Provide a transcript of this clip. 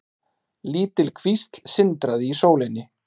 Lítil kvísl sindraði í sólinni.